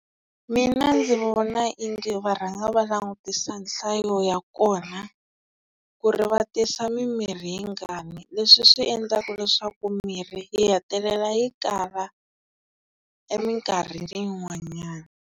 Mina ndzi vona ingi va rhanga va langutisa nhlayo ya kona, ku ri va tisa mimirhi yingani, leswi swi endlaka leswaku mirhi yi hetelela yi kala eminkarhi yin'wanyana.